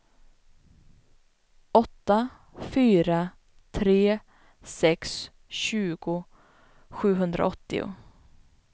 åtta fyra tre sex tjugo sjuhundraåttio